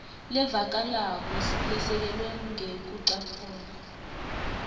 levakalako lesekelwe ngekucaphuna